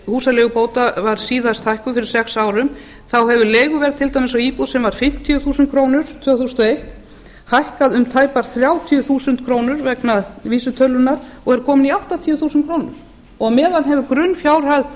húsaleigubóta var síðast hækkuð fyrir sex árum hefur leiguverð til dæmis á íbúð sem var fimmtíu þúsund krónur tvö þúsund og eitt hækkað um tæpar þrjátíu þúsund krónur vegna vísitölunnar og er komin í áttatíu þúsund krónur á meðan hefur grunnfjárhæð